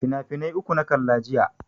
Finafinai uku na kalla jiya.